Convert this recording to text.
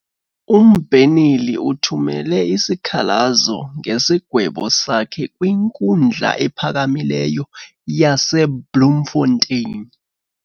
Umbheneli uthumele isikhalazo ngesigwebo sakhe kwinkundla ephakamileyo yaseBloemfotein.